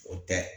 O tɛ